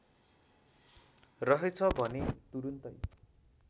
रहेछ भने तुरुन्तै